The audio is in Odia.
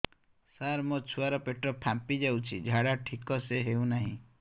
ସାର ମୋ ଛୁଆ ର ପେଟ ଫାମ୍ପି ଯାଉଛି ଝାଡା ଠିକ ସେ ହେଉନାହିଁ